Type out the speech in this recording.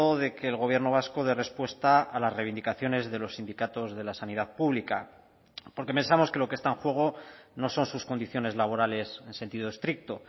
de que el gobierno vasco dé respuesta a las reivindicaciones de los sindicatos de la sanidad pública porque pensamos que lo que está en juego no son sus condiciones laborales en sentido estricto